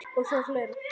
Og það var fleira.